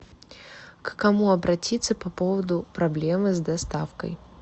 к кому обратиться по поводу проблемы с доставкой